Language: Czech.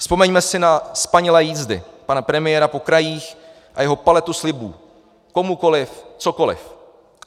Vzpomeňme si na spanilé jízdy pana premiéra po krajích a jeho paletu slibů komukoliv cokoliv.